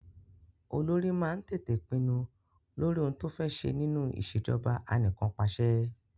Olórí máa ń tètè pinnu lórí ohun to fé ṣẹ nínú ìṣèjọba anìkànpàṣẹ.